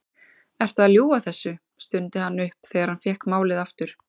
Ertu að ljúga þessu? stundi hann upp þegar hann fékk málið aftur.